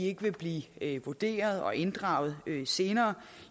ikke vil blive vurderet og inddraget senere